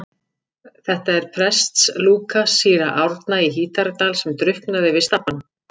Þetta er prestslúka síra Árna í Hítardal sem drukknaði við Stapann.